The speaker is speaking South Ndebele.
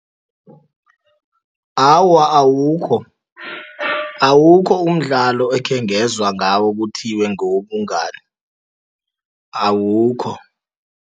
Awa, awukho. Awukho umdlalo ekhengezwa ngawo kuthiwe ngewobungani, awukho.